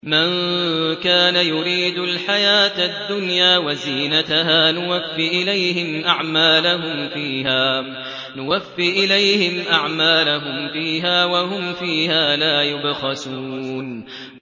مَن كَانَ يُرِيدُ الْحَيَاةَ الدُّنْيَا وَزِينَتَهَا نُوَفِّ إِلَيْهِمْ أَعْمَالَهُمْ فِيهَا وَهُمْ فِيهَا لَا يُبْخَسُونَ